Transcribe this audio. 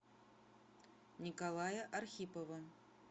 николая архипова